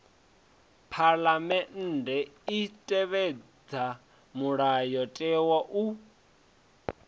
phaḽamennde i tevhedza mulayotewa hu